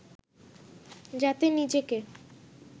যাতে নিজেকে